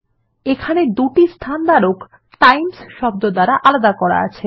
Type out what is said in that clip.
এখানে দুটি স্থানধারক টাইমস শব্দ দ্বারা আলাদা করা আছে